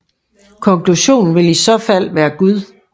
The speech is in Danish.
Konklusionen vil i så fald være Gud